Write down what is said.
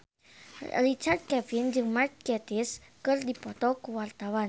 Richard Kevin jeung Mark Gatiss keur dipoto ku wartawan